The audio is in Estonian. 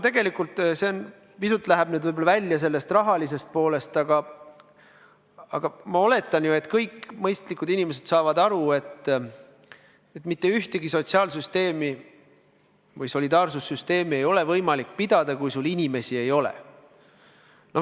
See jutt läheb nüüd pisut välja tänase teema rahalisest küljest, aga ma oletan, et kõik mõistlikud inimesed saavad aru, et mitte ühtegi solidaarsussüsteemi ei ole võimalik ülal pidada, kui sul inimesi ei ole.